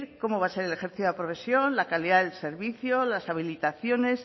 cómo va a ser el ejercicio de la profesión la calidad del servicio las habilitaciones